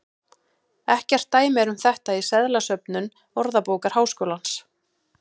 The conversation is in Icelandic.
Ekkert dæmi er um þetta í seðlasöfnum Orðabókar Háskólans.